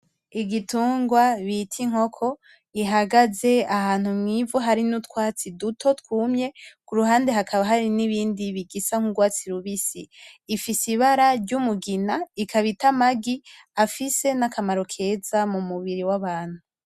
Igitungwa bita inkoko gihagaze ahantu mw'ivu hari n'urwatsi duto twumye iruhande hakaba hari n'ibindi bigisa n'urwatsi rubisi. Ifise ibara ry'umugina ikaba ita amagi afise n'akamaro keza m'umubiri w'abantu.